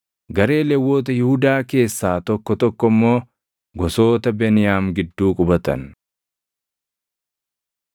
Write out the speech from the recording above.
Garee Lewwota Yihuudaa keessaa tokko tokko immoo gosoota Beniyaam gidduu qubatan.